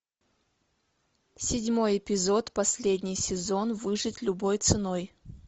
седьмой эпизод последний сезон выжить любой ценой